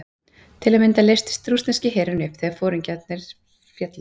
Til að mynda leystist rússneski herinn upp þegar foringjarnir féllu.